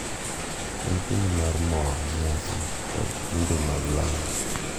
En kinde mar mor, nyasi, kod timbe mag lamo,